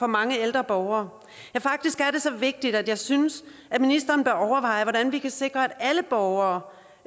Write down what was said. mange ældre borgere ja faktisk er det så vigtigt at jeg synes at ministeren bør overveje hvordan vi kan sikre at alle borgere